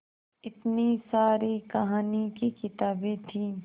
इतनी सारी कहानी की किताबें थीं